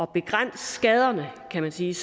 begrænse skaderne kan man sige